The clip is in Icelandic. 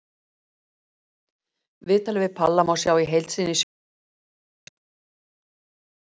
Viðtalið við Palla má sjá í heild sinni í sjónvarpinu hér að ofan.